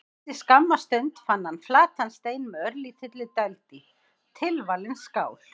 Eftir skamma stund fann hann flatan stein með örlítilli dæld í: tilvalin skál.